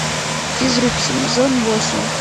физрук сезон восемь